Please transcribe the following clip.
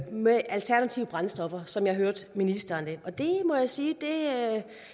med alternative brændstoffer sådan hørte jeg ministeren jeg må jeg sige